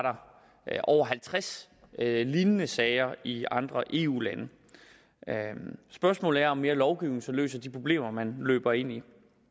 over halvtreds lignende sager i andre eu lande spørgsmålet er om mere lovgivning så løser de problemer man løber ind i